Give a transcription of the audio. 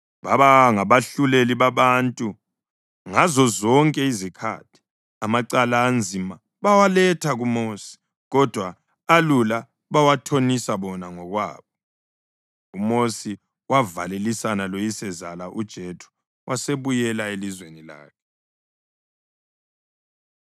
Wakhetha amadoda alamandla phakathi kwabako-Israyeli wonke wawenza abakhokheli babantu, izinduna zezinkulungwane, ezamakhulu, ezamatshumi amahlanu lezamatshumi.